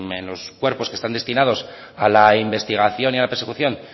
en los cuerpos que están destinados a la investigación y a la persecución